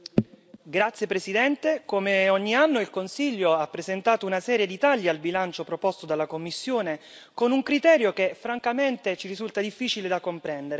Signora Presidente, onorevoli colleghi, come ogni anno il Consiglio ha presentato una serie di tagli al bilancio proposto dalla Commissione con un criterio che, francamente, ci risulta difficile da comprendere.